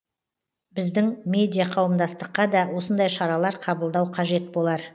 біздің медиа қауымдастыққа да осындай шаралар қабылдау қажет болар